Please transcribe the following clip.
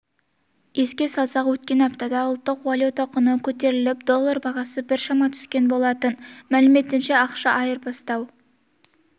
еске салсақ өткен аптада ұлттық валюта құны көтеріліп доллар бағасы біршама түскен болатын мәліметінше ақша айырбастау